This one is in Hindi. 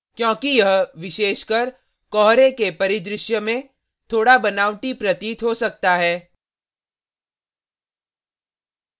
क्योंकि यह विशेषकर कोहरे के परिदृश्य में थोड़ा बनावटी प्रतीत हो सकता है